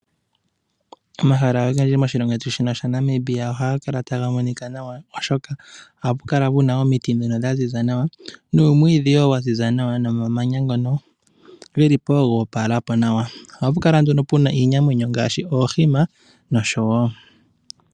Omahala ogendji moshilongo shetu shino shaNamibia ohaga kala taga monika nawa oshoka ohapu kala pu na omiti ndhono dha ziza nawa nuumwiidhi wo waziza nawa nomamanya ngono ge li po goopala po nawa ohapukala nduno puna iinamwenyo ngaashi oohima nosho tuu.